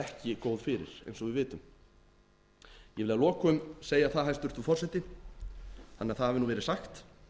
eins og við vitum ég vil að lokum segja það hæstvirtur forseti þannig að það hafi verið sagt